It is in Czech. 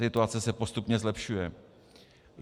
Situace se postupně zlepšuje.